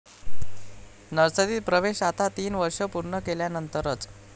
नर्सरीत प्रवेश आता तीन वर्ष पूर्ण केल्यानंतरच!